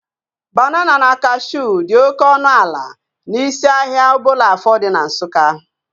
Banana na cashuu dị oké ọnụ ala n'isi ahịa Obollo-Afor dị na Nsukka